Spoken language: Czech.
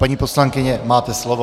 Paní poslankyně, máte slovo.